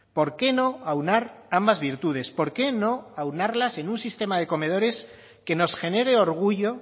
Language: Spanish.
por qué no aunar ambas virtudes por qué no aunarlas en un sistema de comedores que nos genere orgullo